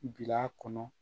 Bil'a kɔnɔ